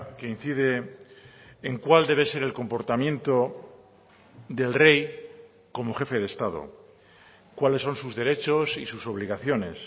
que incide en cuál debe ser el comportamiento del rey como jefe de estado cuáles son sus derechos y sus obligaciones